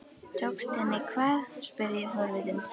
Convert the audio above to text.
Tókst henni hvað? spurði ég forvitin.